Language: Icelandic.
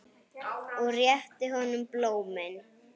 Og rétti honum blómin.